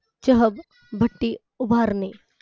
चह भट्टी उभारणे